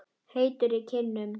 Heitur í kinnum.